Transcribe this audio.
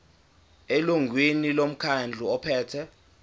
elungwini lomkhandlu ophethe